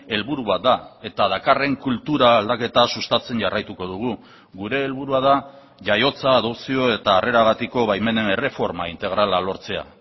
helburu bat da eta dakarren kultura aldaketa sustatzen jarraituko dugu gure helburua da jaiotza adopzio eta harreragatiko baimenen erreforma integrala lortzea